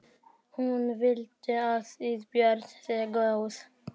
Hún viti að Ísbjörg sé góð.